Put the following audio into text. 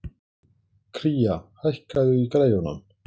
Kría, hækkaðu í græjunum.